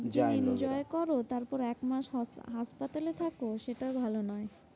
যায় enjoy লোকেরা কর তারপরে এক মাস হাঁস~ হাঁসপাতালে থাকো সেটা ভালো নয়।